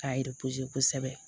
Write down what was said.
K'a kosɛbɛ